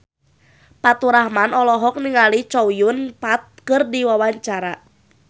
Faturrahman olohok ningali Chow Yun Fat keur diwawancara